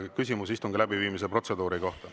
Küsimus istungi läbiviimise protseduuri kohta.